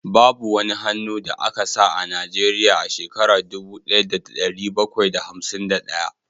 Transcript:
Babu wani hannu da aka sa a Najeriya a shekara dubu daya da dari bakwai da hamsin da daya